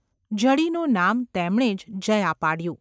જડીનું નામ તેમણે જ જયા પાડ્યું.